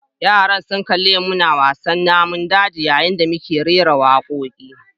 Yara sun kalli mu muna gasa naman daji yayin da muke rera wakokinmu.